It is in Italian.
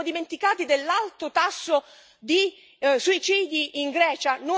Ci siamo dimenticati dell'alto tasso di suicidi in Grecia?